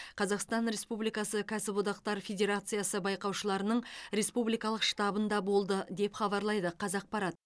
қазақстан республикасы кәсіподақтар федерациясы байқаушыларының республикалық штабында болды деп хабарлайды қазақпарат